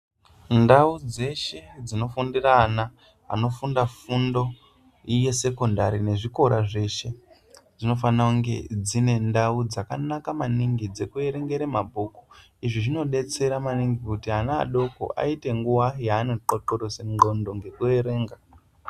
Ndau dzeshe dzinofundire ana anofunda fundo yesekondari nezvikora zveshe dzvinofana kunge dzine ndau dzakanaka maningi dzekuwerengera mabhuku izvivinodetsera maningi kuti ana adoko aite nguwa yano xoxorosa ngondwo ngekuwerenga.